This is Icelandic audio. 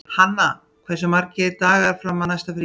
Hanna, hversu margir dagar fram að næsta fríi?